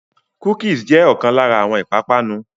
Cookies jẹ̀ ọkàn lára àwọn ìpápánu.